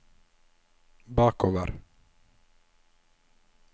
bakover